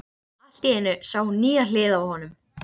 Allt í einu sá hún nýja hlið á honum.